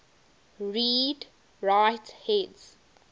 read write heads